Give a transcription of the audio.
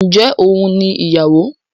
Ǹjẹ́ òun ni ìyàwó?